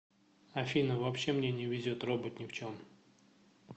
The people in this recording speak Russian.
афина вообще мне не везет робот не в чем